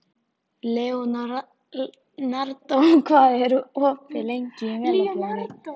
Leonardo, hvað er opið lengi í Melabúðinni?